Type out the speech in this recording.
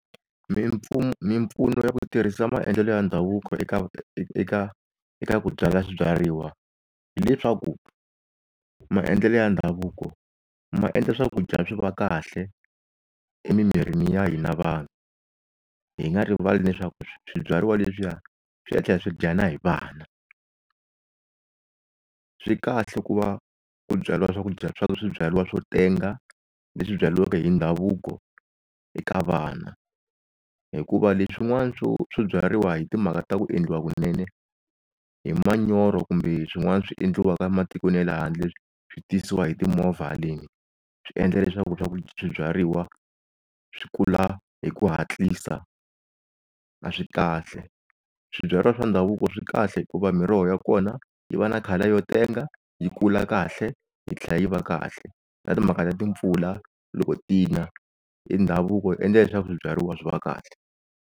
Mimpfuno ya ku tirhisa maendlelo ya ndhavuko eka eka eka ku byala swibyariwa, hileswaku maendlelo ya ndhavuko maendla swakudya swi va kahle emimirini ya hina vanhu, hi nga rivali leswaku swibyariwa leswi ya swi ta tlhela swi dyiwa na hi vana. Swikahle ku va ku byariwa swakudya swa swibyariwa swo tenga leswi byariwaka hi ndhavuko eka vana. Hikuva leswin'wana swo swibyariwa hi timhaka ta ku endliwa kunene hi manyoro kumbe swin'wana swi endliwaka matikweni ya lehandle swi tisiwa hi timovha haleni, swi endla leswaku swa ku swibyariwa swi kula hi ku hatlisa a swi kahle. Swibyariwa swa ndhavuko swi kahle hikuva miroho ya kona yi va na color yo tenga, yi kula kahle yi tlhela yi va kahle. Na timhaka ta timpfula loko ti na i ndhavuko wu endle leswaku swibyariwa swi va kahle.